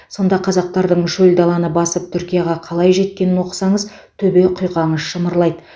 сонда қазақтардың шөл даланы басып түркияға қалай жеткенін оқысаңыз төбе құйқаңыз шымырлайды